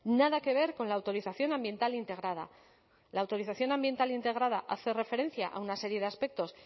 nada que ver con la autorización ambiental integrada la autorización ambiental integrada hace referencia a una serie de aspectos